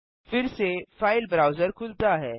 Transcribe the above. फिरसे file browser खुलता है